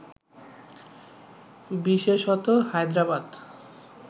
বিশেষত হায়দ্রাবাদ